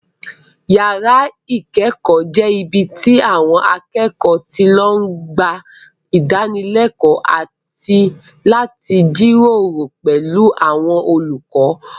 Yàrá ìkẹ́kọ̀ọ́ jẹ́ ibi tí àwọn akẹ́kọ̀ọ́ ti lọ ń gba ìdánilẹ́kọ̀ọ́ àti láti jíròrò pẹ̀lú àwọn olùkọ́